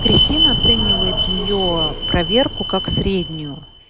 кристина оценивает её проверку как среднюю